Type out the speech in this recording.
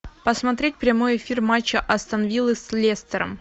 посмотреть прямой эфир матча астон виллы с лестером